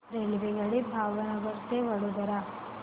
रेल्वेगाडी भावनगर ते वडोदरा